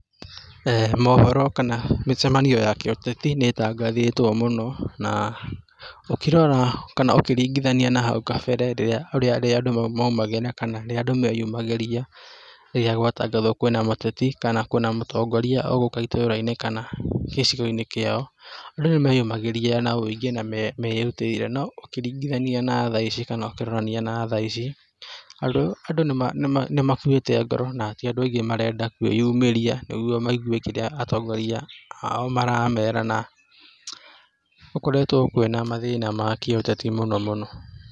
Mohoro kana mĩcemanio ya gĩũteti nĩ ĩtangathĩtwo mũno, na ũkĩrora kana ũkĩringithania na hau kabere rĩrĩa andũ maumagĩra kana rĩrĩa andũ meyumagĩria, rĩrĩa gwatangathwo kwĩna mũteti kana kwĩna mũtongoria ũgũke ĩtũrainĩ kana gĩcigo-inĩ kĩao, andũ nĩmeyumagĩria na ũingĩ na merutaĩre no ũkĩringithania na thaici kana ũkĩrorania na thaici andũ nĩ makuĩte ngoro, ti andũ aingĩ marenda kwĩyumĩria niguo maigue kĩrĩa atongoria ao maramera. Gũkoretwo kwina mathĩna ma kĩũteti mũno.